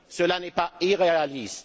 Cela n'est pas irréaliste.